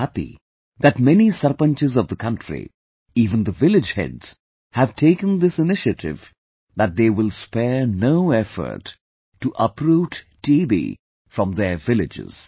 I am happy that many sarpanchs of the country, even the village heads, have taken this initiative that they will spare no effort to uproot TB from their villages